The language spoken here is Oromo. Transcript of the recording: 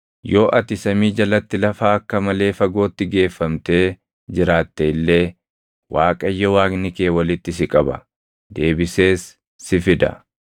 Yoo ati samii jalatti lafa akka malee fagootti geeffamtee jiraatte illee Waaqayyo Waaqni kee walitti si qaba; deebisees si fida.